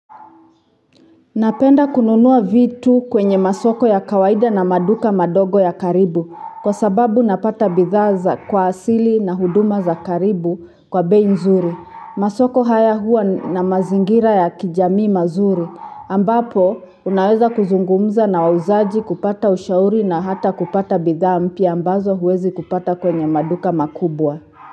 Napenda kununua vitu kwenye masoko ya kawaida na maduka madogo ya karibu kwa sababu napata bidhaa za kwa asili na huduma za karibu kwa bei nzuri. Masoko haya huwa na mazingira ya kijamii mazuri ambapo unaweza kuzungumza na wauzaji kupata ushauri na hata kupata bidhaa mpya ambazo huwezi kupata kwenye maduka makubwa.